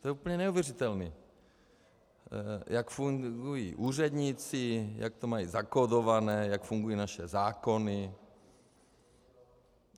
To je úplně neuvěřitelné, jak fungují úředníci, jak to mají zakódované, jak fungují naše zákony.